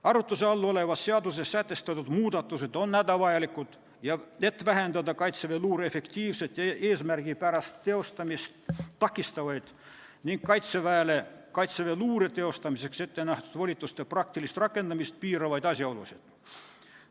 Arutluse all olevas seaduses sätestatud muudatused on hädavajalikud, et vähendada kaitseväeluure efektiivset ja eesmärgipärast tegevust takistavaid ning Kaitseväele kaitseväeluure jaoks ettenähtud volituste praktilist rakendamist piiravaid asjaolusid.